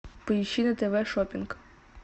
поищи на тв шопинг